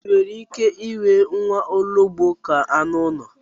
Ì nwere ike inwe nwaologbo ka anụ ụlọ?